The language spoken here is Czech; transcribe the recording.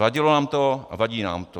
Vadilo nám to a vadí nám to.